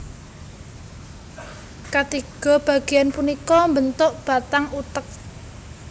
Katiga bagéan punika mbentuk batang utek